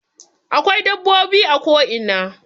Akwai dabbobi a ko ina